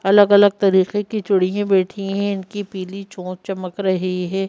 अलग अलग तरीके की चूड़िये बैठी है इनकी पीली चोंच चमक रही है।